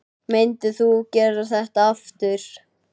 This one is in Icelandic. Myndir þú gera þetta aftur?